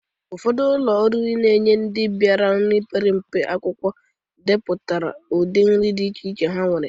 Ụfọdụ ụlọ oriri na-enye ndị biara iri nri mpempe akwụkwọ edepụtara udị nri dị iche iche ha nwere.